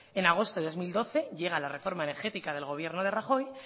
en agosto del dos mil doce llega la reforma energética del gobierno de rajoy